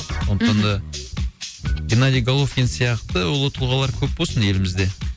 мхм сондықтан да геннадий головкин сияқты ұлы тұлғалар көп болсын елімізде